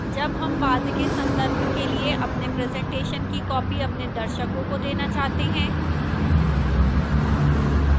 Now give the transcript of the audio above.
जब हम बाद के संदर्भ के लिए अपने presentation की copies अपने दर्शकों को देना चाहते हैं